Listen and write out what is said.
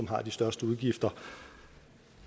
har de største udgifter